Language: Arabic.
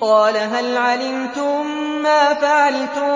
قَالَ هَلْ عَلِمْتُم مَّا فَعَلْتُم